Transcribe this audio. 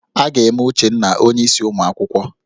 A ga-eme Uchenna onyeisi ụmụ akwụkwọ